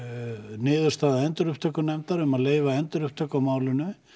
niðurstaða endurupptökunefndar um að leyfa endurupptöku á málinu